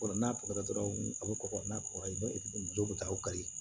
Fɔlɔ n'a pɔtɛra a bɛ ko n'a ko ayi muso bɛ taa aw ka yen